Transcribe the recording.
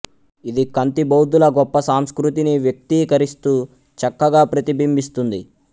ఇది ఖంతి బౌద్ధుల గొప్ప సంస్కృతిని వ్యక్తీకరిస్తూ చక్కగా ప్రతిబింబిస్తుంది